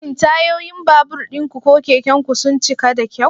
Shin tayoyin babur ɗinku ko keken ku sun cika da kyau?